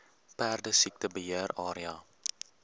perdesiekte beheer area